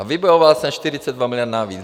A vybojoval jsem 42 miliard navíc.